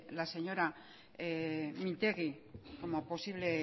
la señora mintegi como posible